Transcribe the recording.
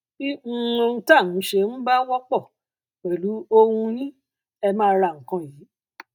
bí um ohun tá a nṣe um bá wọpọ pẹlú ohun yín ẹ máa ra nǹkan yìí